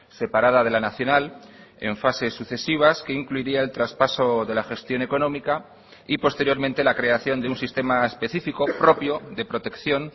separada de la nacional en fases sucesivas que incluiría el traspaso de la gestión económica y posteriormente la creación de un sistema específico propio de protección